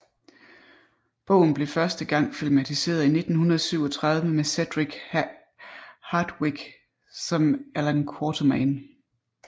Bogen blev første gang filmatiseret i 1937 med Cedric Hardwicke som Allan Quartermain